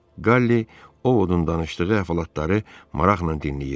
Qalli Ovodun danışdığı əhvalatları maraqla dinləyir.